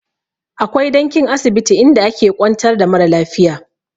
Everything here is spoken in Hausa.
Akwai dankin asibiti inda ake ƙwantar da mara lafiya.